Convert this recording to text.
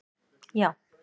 já.